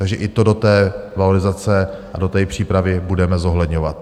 Takže i to do té valorizace a do té přípravy budeme zohledňovat.